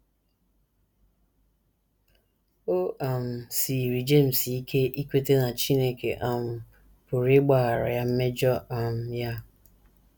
O um siiri James ike ikweta na Chineke um pụrụ ịgbaghara ya mmejọ um ya.